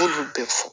bɛ fɔ